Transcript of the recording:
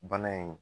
Bana in